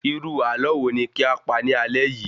Irú ààlọ́ wo ni kí a pa ni alé yìí?